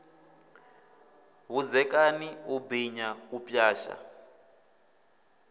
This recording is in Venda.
vhudzekani u binya u pwasha